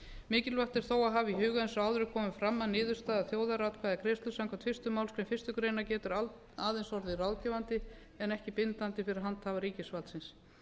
mikilvægt er þó að hafa í huga eins og áður hefur komið fram að niðurstaða þjóðaratkvæðagreiðslu samkvæmt fyrstu málsgrein fyrstu grein getur aðeins orðið ráðgefandi en ekki bindandi fyrir handhafa ríkisvaldsins